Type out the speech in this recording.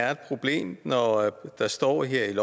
er et problem når der står her i